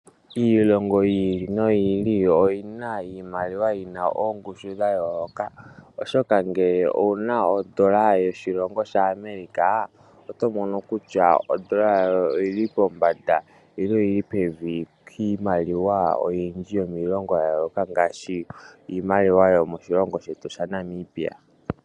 Iilongo yiili noyi ili oyina iimaliwa oyina oongushu dhayoloka oshoka ngele owuna ondola yoshilongo shaAmerica oto mono kutya ondola oyili pombanda nenge pevi kiimaliwa oyindji yomilongo yayooloka ngaashi iimaliwa yomoshilongo shetu shaNamibia.